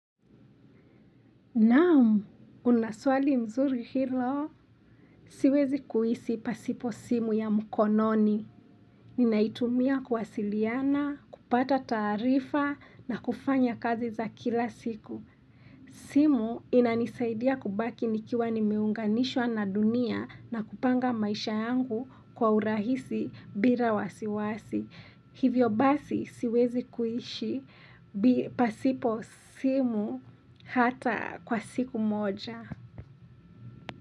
Naam, unaswali mzuri hilo. Siwezi kuhisi pasipo simu ya mkononi. Ninaitumia kuwasiliana, kupata taarifa na kufanya kazi za kila siku. Simu inanisaidia kubaki nikiwa ni meunganishwa na dunia na kupanga maisha yangu kwa urahisi bila wasiwasi. Hivyo basi siwezi kuishi pasipo simu hata kwa siku moja.